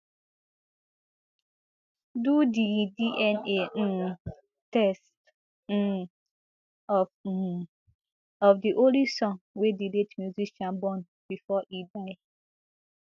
do di dna um test um of um of di only son wey di late musician born bifor e die